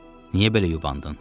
Niyə belə yubandın?